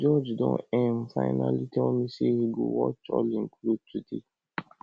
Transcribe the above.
george don um finally tell me say he go watch all im cloth today